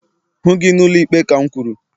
hụ gi n'ụlọikpe ka m kwuru!